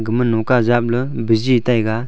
gama noka japley biji taiga.